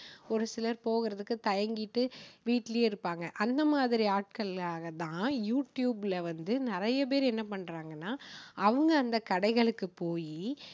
ஒரு சிலர் போகுறதுக்கு தயங்கிட்டு வீட்டுலேயே இருப்பாங்க அந்த மாதிரி ஆட்களுக்காக தான் யூ டியூப்ல வந்து நிறைய பேர் என்ன பண்றாங்கன்னா, அவங்க அந்த கடைகளுக்கு போயி